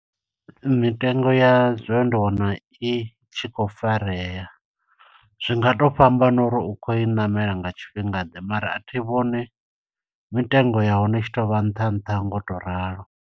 Mitengo ya zwo ndi wana i tshi khou farea. Zwi nga to fhambana uri u khou i ṋamela nga tshifhinga ḓe, mara a thi vhoni mitengo ya hone i tshi tovha nṱha nṱha ngo u to ralo.